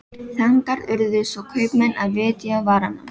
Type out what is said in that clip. Þangað urðu svo kaupmenn að vitja varanna.